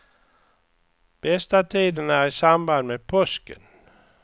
Bästa tiden är i samband med påsken.